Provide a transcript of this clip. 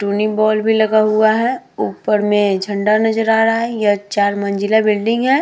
Tuning bulb भी लगा हुआ है। ऊपर मे झंडा नज़र आ रहा है। यह चार मंज़िला बिल्डिंग है।